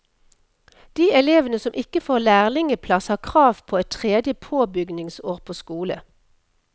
De elevene som ikke får lærlingeplass har krav på et tredje påbygningsår på skole.